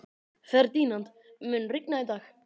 Ferdinand, mun rigna í dag?